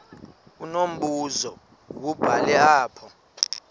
unombuzo wubhale apha